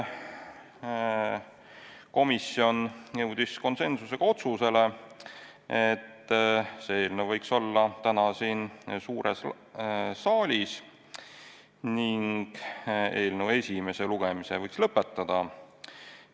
Komisjon jõudis konsensusega otsusele, et see eelnõu võiks olla siin suures saalis arutusel täna ning eelnõu esimese lugemise võiks lõpetada.